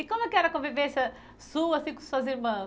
E como é que era a convivência sua assim com suas irmãs?